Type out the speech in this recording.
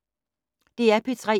DR P3